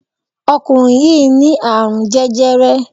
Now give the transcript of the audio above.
Ọkùnrin yìí ní àrún jẹjẹrẹ